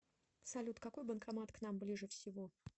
салют какой банкомат к нам ближе всего